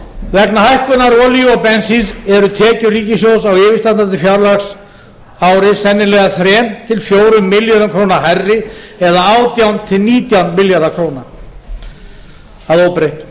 hækkunar olíu og bensíns eru tekjur ríkissjóðs á yfirstandandi fjárhagsári sennilega þriggja til fjórum milljörðum króna hærri eða átján til nítján milljarðar króna að óbreyttu